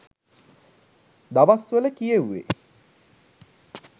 දවස්වල කියෙව්වෙ.